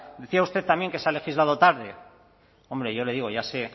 decía usted también que se ha legislado tarde hombre yo le digo ya sé